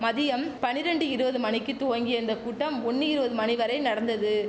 மதியம் பனிரெண்டு இருவது மணிக்கித் துவங்கிய இந்த கூட்டம் ஒண்ணு இருவது மணி வரை நடந்தது